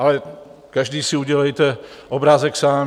Ale každý si udělejte obrázek sám.